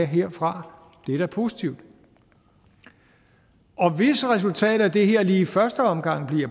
herfra det er da positivt og hvis resultatet af det her lige i første omgang